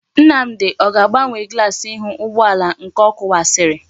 Nnamdi o ga-agbanwe glass ihu ugboala nke o kuwasiri?